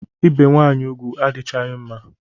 Ibe nwanyị ugwu adichaghi mma